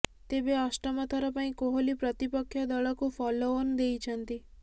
ତେବେ ଅଷ୍ଟମଥର ପାଇଁ କୋହଲି ପ୍ରତିପକ୍ଷ ଦଳକୁ ଫଲୋଅନ୍ ଦେଇଛନ୍ତି